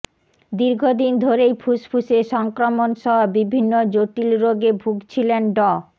দীর্ঘদিন ধরেই ফুসফুসে সংক্রমণসহ বিভিন্ন জটিল রোগে ভুগছিলেন ড